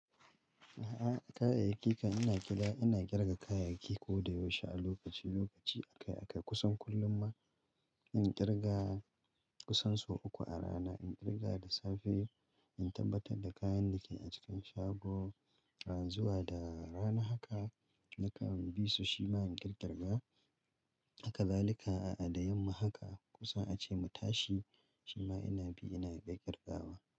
A'a, kayayyaki ka ina kira ina ƙirga kayayyaki ko da yaushe a lokaci-lokaci. Akai-akai kusan kullum ma in ƙirga kusan sau uku a rana. In ƙirga da safe in tabbatar da kayan da ke a cikin shago, ran zuwa da rana haka, maka bi su shi ma in ƙirga. Haka zalika a'a da yamma haka kusa ace mu tashi shi ma ina bi ina kai ƙirgawa.